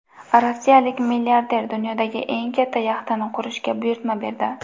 Rossiyalik milliarder dunyodagi eng katta yaxtani qurishga buyurtma berdi.